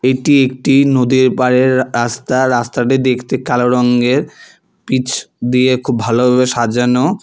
এটি একটি নদীর পাড়ের রাস্তা রাস্তাটি দেখতে কালো রঙ্গের পিচ দিয়ে খুব ভালোভাবে সাজানো।